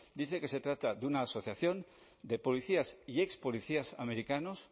dice que se trata de una asociación de policías y expolicías americanos